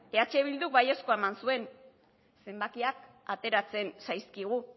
eh bilduk baiezkoa eman zuen zenbakiak ateratzen zaizkigu